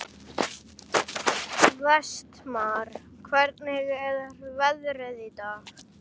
Vestmar, hvernig er veðrið í dag?